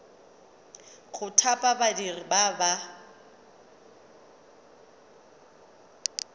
go thapa badiri ba ba